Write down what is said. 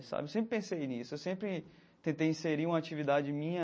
Sabe eu sempre pensei nisso, eu sempre tentei inserir uma atividade minha